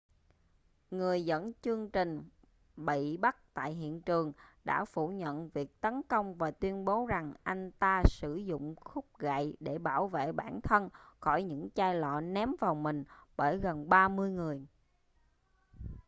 người dẫn chương trình bị bắt tại hiện trường đã phủ nhận việc tấn công và tuyên bố rằng anh ta sử dụng khúc gậy để bảo vệ bản thân khỏi những chai lọ ném vào mình bởi gần ba mươi người